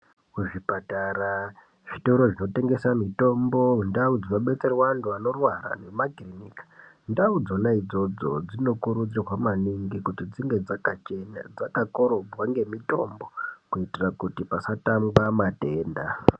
Kuzvipatara ,zvitoro zvinotengesa mutombo ndau dzinobetserwa antu anorwara nema kirinika, ndau dzona idzodzo dzinokurudzirwa maningi kuti dzinge dzakachena dzakakorobhwa ngemitombo kuitira kuti pasatamba matenda.